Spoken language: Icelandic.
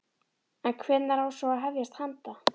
En hvenær á svo að hefjast handa?